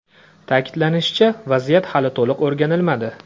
Ta’kidlanishicha, vaziyat hali to‘liq o‘rganilmadi.